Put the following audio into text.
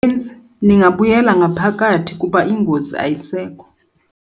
benzi! Ningabuyela ngaphakathi kuba ingozi ayisekho.